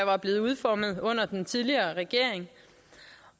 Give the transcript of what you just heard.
var blevet udformet under den tidligere regering